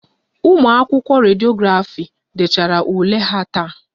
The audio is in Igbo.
Ụmụ akwụkwọ Rediografi dechara ule ha taa